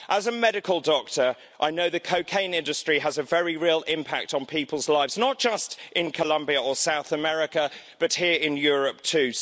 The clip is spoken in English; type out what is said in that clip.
As a medical doctor, I know the cocaine industry has a very real impact on people's lives, not just in Colombia or South America but here in Europe too.